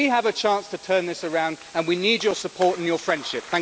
We have a chance to turn this around and we need your support and your friendship.